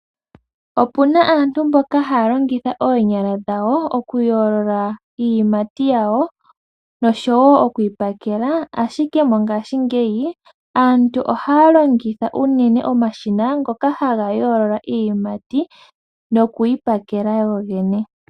Opuna aantu mboka haya longitha oonyala dhawo okuyoolola iiyimati yawo noshowo okuyi pakela, ashike mongaashingeyi aantu ohaya longitha unene omashina ngoka haga yoolola iiyimati nokuyi pakela go gene.